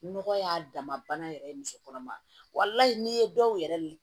Nɔgɔ y'a dama bana yɛrɛ ye muso kɔnɔma n'i ye dɔw yɛrɛ